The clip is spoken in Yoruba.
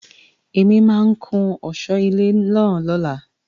Èmi máà ń kún ọ̀sọ́ ilé náà lóla.